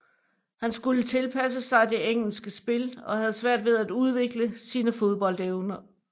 Han skulle tilpasse sig det engelske spil og havde svært ved at udvikle sine fodboldevner